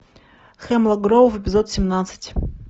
хемлок гроув эпизод семнадцать